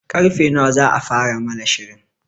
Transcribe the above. Karfe nawa za a fara nuna shirin?